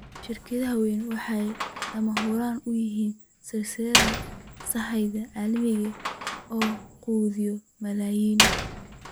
Shirkadaha waaweyni waxay lama huraan u yihiin silsiladaha sahayda caalamiga ah ee quudiya malaayiin.